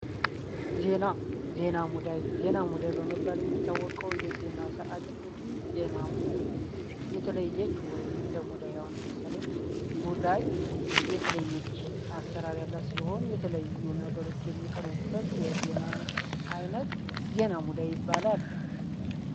ዜና ሙዳይ በመባል የሚታወቀው የዜና ሰዓት እንግዲ ዜና የተለየች ወይም እንደ ሙዳይ ምሳሌ ሙዳይ የተለየች አሰራር ያለ ሲሆን፤ የተለያዩ ነገሮች የሚቀርቡበት የዜና የዓይነት ዜና ሙዳይ ይባላል።